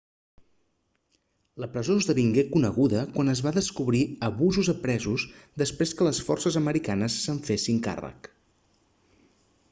la presó esdevingué coneguda quan es va descobrir abusos a presos després que les forces americanes se'n fessin càrrec